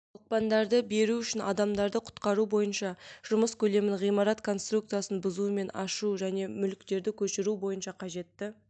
оқпандарды беру үшін адамдарды құтқару бойынша жұмыс көлемін ғимарат конструкциясын бұзу мен ашу және мүліктерді көшіру бойынша қажетті